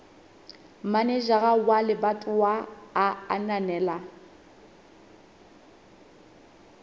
manejara wa lebatowa a ananela